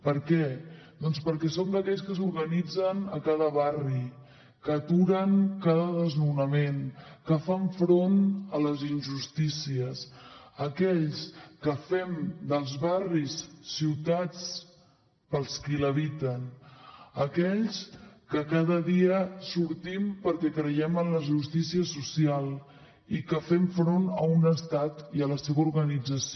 per què doncs perquè som d’aquells que s’organitzen a cada barri que aturen cada desnonament que fan front a les injustícies aquells que fem dels barris ciutats per als qui l’habiten aquells que cada dia sortim perquè creiem en la justícia social i que fem front a un estat i a la seva organització